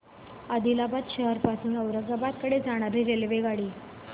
आदिलाबाद शहर पासून औरंगाबाद कडे जाणारी रेल्वेगाडी